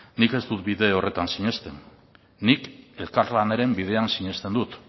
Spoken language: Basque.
nik ez dut bide horretan sinesten nik elkarlanaren bidean sinesten dut